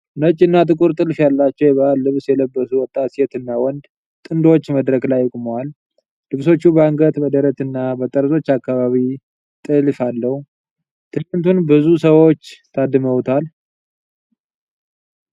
ነጭና ጥቁር ጥልፍ ያላቸው የባህል ልብስ የለበሱ ወጣት ሴትና ወንድ ጥንዶች መድረክ ላይ ቆመዋል። ልብሶቹ በአንገት፣ በደረትና በጠርዞች አካባቢ ጥልፍ አለው። ትዕይንቱን ብዙ ሰዎች ታድመውበታል።